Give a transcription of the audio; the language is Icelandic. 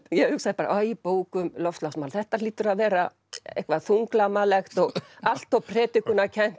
ég hugsaði bara æ bók um loftslagsmál þetta hlýtur að vera eitthvað þunglamalegt og allt of